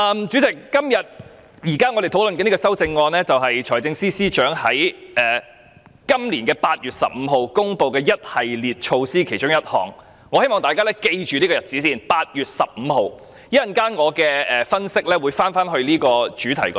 主席，我們現時討論的修正案，是關於財政司司長在今年8月15日公布的一系列措施的其中一項；我希望大家先緊記8月15日這個日子，我稍後的分析會回到這個主題。